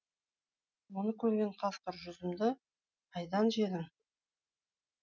оны көрген қасқыр жүзімді қайдан жедің